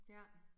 ja